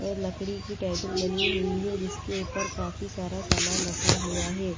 लकड़ी की टेबल बनी हुई है जिसके ऊपर काफी सारा सामान रखा हुआ है।